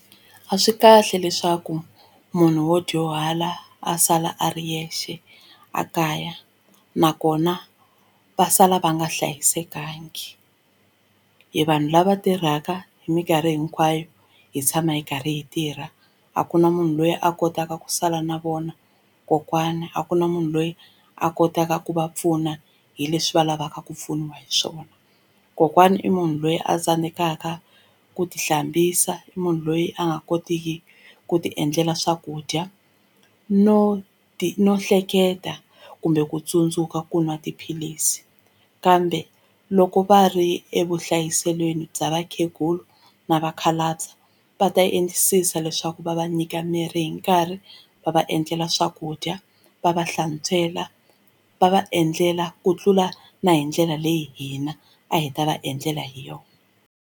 A swi kahle leswaku munhu wo dyuhala a sala a ri yexe a kaya nakona va sala va nga hlayisekangi hi vanhu lava tirhaka hi mikarhi hinkwayo hi tshama hi karhi hi tirha a ku na munhu loyi a kotaka ku sala na vona kokwana a ku na munhu loyi a kotaka ku va pfuna hi leswi va lavaka ku pfuniwa hi swona kokwana i munhu loyi a tsandzekaka ku tihlambisa i munhu loyi a nga kotiki ku tiendlela swakudya no no hleketa kumbe ku tsundzuka ku nwa tiphilisi kambe loko va ri evuhlayiselweni bya vakhegula na vakhalabye va ta endlisisa leswaku va va nyika mirhi hi nkarhi va va endlela swakudya va va hlantswela va va endlela ku tlula na hi ndlela leyi hina a hi ta va endlela hi yona.